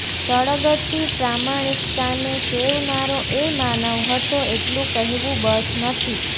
સળગતી પ્રામાણિકતાને સેવનારો એ માનવ હતો એટલું કહેવું બસ નથી